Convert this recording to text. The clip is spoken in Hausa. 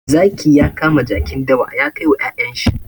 Zaki ya kama jakin dawa ya kai wa ƴaƴen shi.